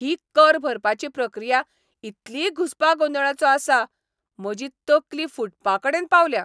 ही कर भरपाची प्रक्रिया इतली घुस्पागोंदळाचो आसा, म्हजी तकली फुटपाकडेन पावल्या.